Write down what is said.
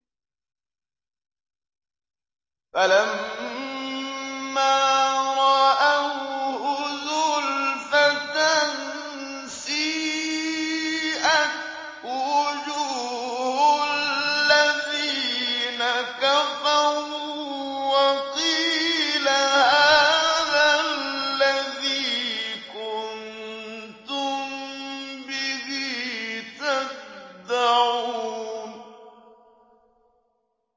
فَلَمَّا رَأَوْهُ زُلْفَةً سِيئَتْ وُجُوهُ الَّذِينَ كَفَرُوا وَقِيلَ هَٰذَا الَّذِي كُنتُم بِهِ تَدَّعُونَ